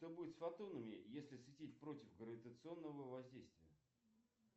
что будет с фотонами если светить против гравитационного воздействия